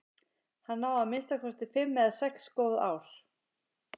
Hann á að minnsta kosti fimm eða sex góð ár.